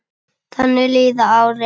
Þannig líða árin.